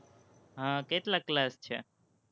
હમ કેટલા class છે?